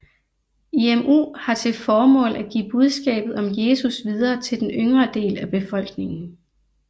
IMU har til formål at give budskabet om Jesus videre til den yngre del af befolkningen